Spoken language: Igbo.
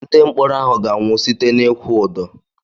Ndị mkpọrọ ahụ ga-anwụ site n'ịkwụ ụdọ.